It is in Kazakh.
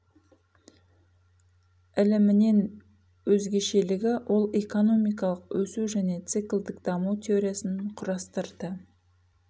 ілімінен өзгешелігі ол экономикалық өсу және циклдік даму теориясын құрастырды